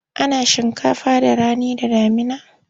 Ana shinkafa da rani da damuna.